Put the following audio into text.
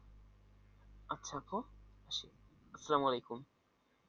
আচ্ছা আপু আসসালাম ওয়ালেকুম।